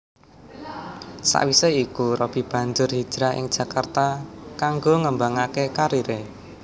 Sawisé iku Robby banjur hijrah ing Jakarta kanggo ngembangaké kariré